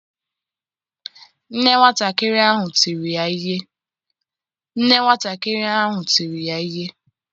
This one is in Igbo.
Nne nwatakịrị ahụ tiri ya ihe.